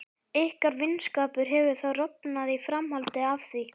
Ykkar vinskapur hefur þá rofnað í framhaldi af því?